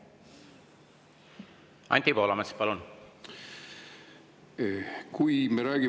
Anti Poolamets, palun!